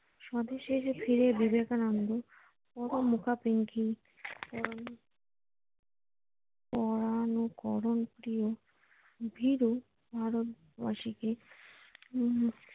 স্বদেশে ফিরে বিবেকানন্দ পরাণকরণ প্রিয় ভীরু ভারত বাসিকে হম